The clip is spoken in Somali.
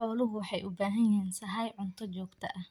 Xooluhu waxay u baahan yihiin sahay cunto joogto ah.